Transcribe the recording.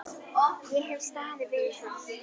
Ég hef staðið við það.